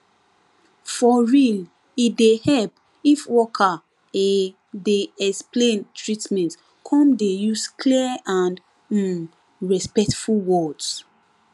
for real e dey help if worker ehh dey explain treatment come dey use clear and um respectful words